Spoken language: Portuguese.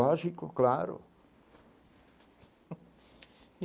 Lógico, claro.